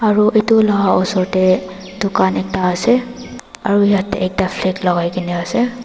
aru itu la osor te dukhan ekta ase aru yeti ekta flag lagaina ase.